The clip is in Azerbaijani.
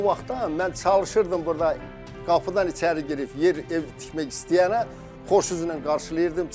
O vaxtdan mən çalışırdım burda qapıdan içəri girib yer, ev tikmək istəyənə xoşuzla qarşılayırdım.